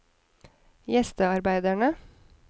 gjestearbeidere